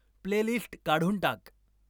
playlist काढून टाक